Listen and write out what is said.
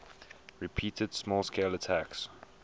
repeated small scale attacks